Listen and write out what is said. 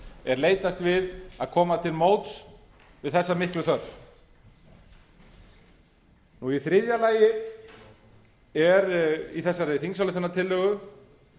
er leitast við að koma til móts við þessa miklu þörf og í þriðja lagi er í þessari þingsályktunartillögu